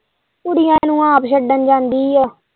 ਕੁੜੀਆਂ ਨੂੰ ਆਪ ਛੱਡਣ ਜਾਂਦੀ ਹੀ ਉਹ।